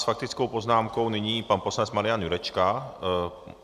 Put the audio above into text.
S faktickou poznámkou nyní pan poslanec Marian Jurečka.